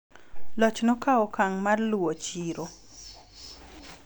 loch nokawo okang' mar luwo chiro